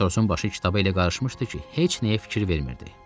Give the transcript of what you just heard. Matrosun başı kitaba elə qarışmışdı ki, heç nəyə fikir vermirdi.